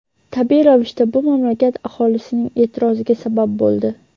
Tabiiy ravishda bu mamlakat aholisining e’tiroziga sabab bo‘ldi.